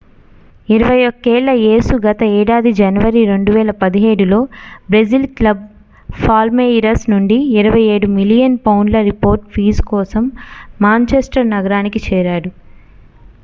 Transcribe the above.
21 ఏళ్ల యేసు గత ఏడాది జనవరి 2017లో బ్రెజిల్ క్లబ్ పాల్మేయిరస్ నుండి 27 మిలియన్ పౌండ్ల రిపోర్డ్ ఫీజు కోసం మాంచెస్టర్ నగరానికి చేరాడు